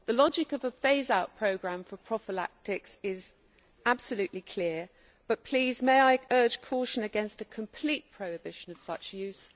The logic of a phase out programme for prophylactics is absolutely clear, but may I please urge caution against a complete prohibition of such use.